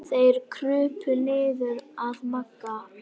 Þeir krupu niður að Magga.